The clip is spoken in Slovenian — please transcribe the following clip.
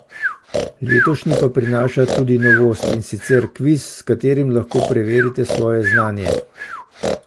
Letošnji pa prinaša tudi novost, in sicer kviz, s katerim lahko preverite svoje znanje.